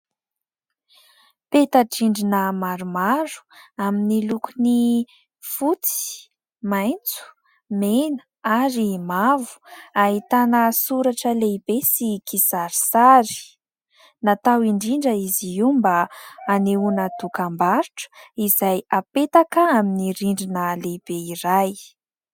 Peta-drindrina maromaro amin'ny lokony fotsy, maitso, mena ary mavo, ahitana soratra lehibe sy kisarisary. Natao indrindra izy io mba anehoana dokam-barotra izay apetaka amin'ny rindrina lehibe iray.